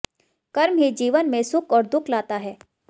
कर्म ही जीवन में सुख और दुख लाता है